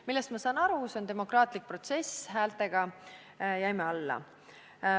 Sellest ma saan aru, see on demokraatlik protsess: häältega jäime alla.